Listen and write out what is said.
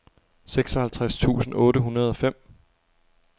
seksoghalvtreds tusind otte hundrede og fem